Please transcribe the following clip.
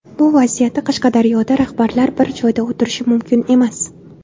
Bu vaziyatda Qashqadaryoda rahbarlar bir joyda o‘tirishi mumkin emas.